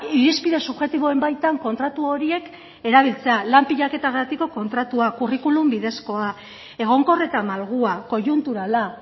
irizpide subjektiboen baitan kontratu horiek erabiltzea lan pilaketagatiko kontratua curriculum bidezkoa egonkor eta malgua koiunturala